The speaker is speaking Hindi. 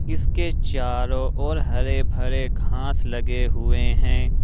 इसके चारों ओर हरे भरे घास लगे हुए हैं।